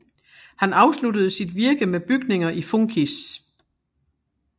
Han afsluttede sit virke med bygninger i funkis